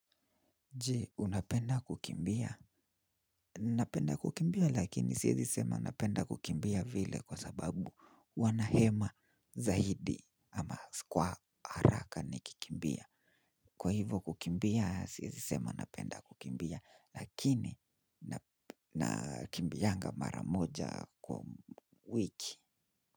Je, unapenda kukimbia? Napenda kukimbia lakini siwezi sema napenda kukimbia vile kwa sababu huwa nahema zaidi ama kwa haraka nikikimbia. Kwa hivyo kukimbia siwezi sema napenda kukimbia lakini nakimbiaga mara moja kwa wiki.